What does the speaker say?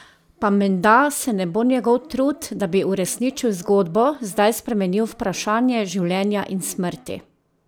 Pa menda se ne bo njegov trud, da bi uresničil zgodbo, zdaj spremenil v vprašanje življenja in smrti?